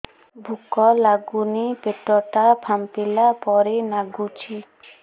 ଭୁକ ଲାଗୁନି ପେଟ ଟା ଫାମ୍ପିଲା ପରି ନାଗୁଚି